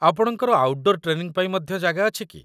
ଆପଣଙ୍କର outdoor training ପାଇଁ ମଧ୍ୟ ଜାଗା ଅଛି କି?